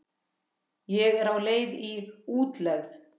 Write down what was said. Ég er á leið í útlegð.